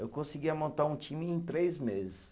Eu conseguia montar um time em três meses.